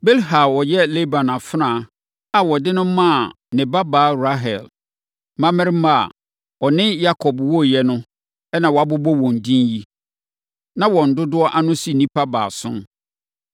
Bilha a ɔyɛ Laban afenaa a ɔde no maa ne babaa Rahel mmammarima a ɔne Yakob woeɛ no na wɔabobɔ wɔn din yi. Na wɔn dodoɔ ano si nnipa baason.